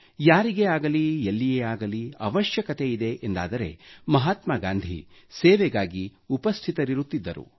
ಯಾರಿಗೇ ಆಗಲಿ ಎಲ್ಲಿಯೇ ಆಗಲಿ ಅವಶ್ಯಕತೆಯಿದೆ ಎಂದಾದರೆ ಮಹಾತ್ಮಾ ಗಾಂಧಿ ಸೇವೆಗಾಗಿ ಉಪಸ್ಥಿತರಿರುತ್ತಿದ್ದರು